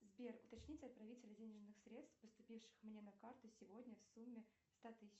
сбер уточните отправителя денежных средств поступивших мне на карту сегодня в сумме ста тысяч